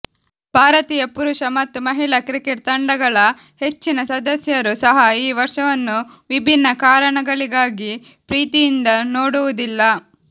ಭಾರತೀಯ ಪುರುಷ ಮತ್ತು ಮಹಿಳಾ ಕ್ರಿಕೆಟ್ ತಂಡಗಳ ಹೆಚ್ಚಿನ ಸದಸ್ಯರು ಸಹ ಈ ವರ್ಷವನ್ನು ವಿಭಿನ್ನ ಕಾರಣಗಳಿಗಾಗಿ ಪ್ರೀತಿಯಿಂದ ನೋಡುವುದಿಲ್ಲ